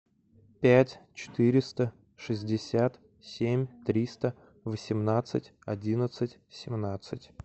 пять четыреста шестьдесят семь триста восемнадцать одиннадцать семнадцать